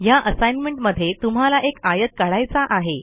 ह्या असाईनमेंटमध्ये तुम्हाला एक आयत काढायचा आहे